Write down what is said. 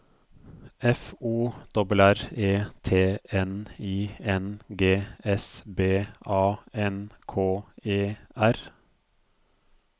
F O R R E T N I N G S B A N K E R